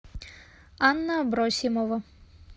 анна абросимова